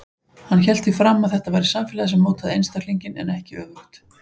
Hann hélt því fram að það væri samfélagið sem mótaði einstaklinginn en ekki öfugt.